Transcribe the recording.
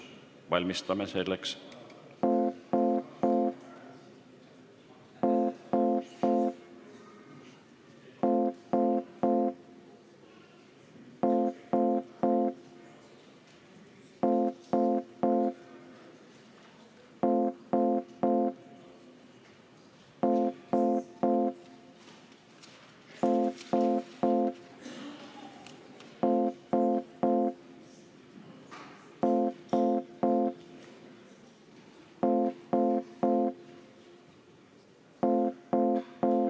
Valmistume selleks.